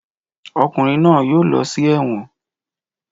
Ọkùnrin náà yóò lọ sí ẹ̀wọ̀n